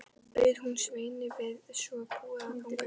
Bauð hún Sveini við svo búið að ganga í bæinn.